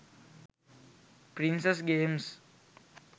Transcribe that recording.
princess games